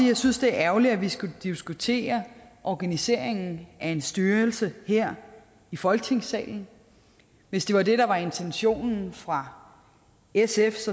jeg synes det er ærgerligt at vi skal diskutere organiseringen af en styrelse her i folketingssalen hvis det var det der var intentionen fra sfs